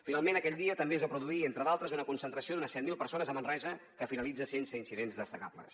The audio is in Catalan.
finalment aquell dia també es va produir entre d’altres una concentració d’unes set mil persones a manresa que finalitza sense incidents destacables